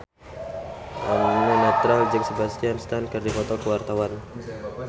Eno Netral jeung Sebastian Stan keur dipoto ku wartawan